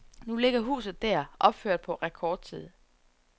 Nu ligger huset der, opført på rekordtid.